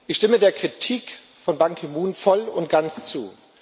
Ich stimme der Kritik von Ban Ki moon voll und ganz zu.